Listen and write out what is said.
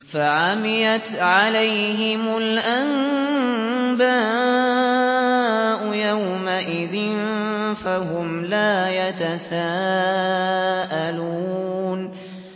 فَعَمِيَتْ عَلَيْهِمُ الْأَنبَاءُ يَوْمَئِذٍ فَهُمْ لَا يَتَسَاءَلُونَ